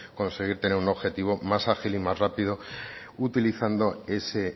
conseguir tener un objetivo más ágil y más rápido utilizando ese